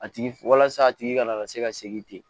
A tigi walasa a tigi kana na se ka segin ten